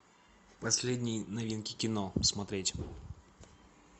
последние новинки кино смотреть